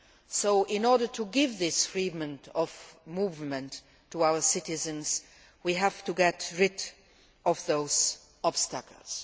So in order to give this freedom of movement to our citizens we have to get rid of those obstacles.